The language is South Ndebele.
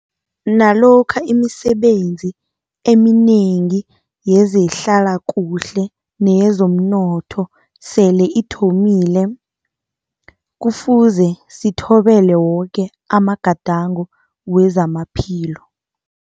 Nalokha imisebenzi eminengi yezehlalakuhle neyezomnotho sele ithomile, Kufuze sithobele woke amagadango wezamaphilo.